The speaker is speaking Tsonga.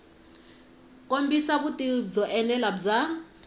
kombisa vutivi byo enela bya